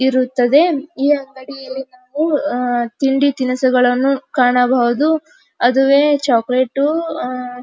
ಇರುತ್ತದೆ ಈ ಅಂಗಡಿಯಲ್ಲಿ ನಾವು ಅಹ್ ತಿಂಡಿ ತಿನಿಸುಗಳನ್ನು ಕಾಣಬಹುದು ಅದುವೆ ಚಾಕೊಲೇಟ್ ಅಹ್ .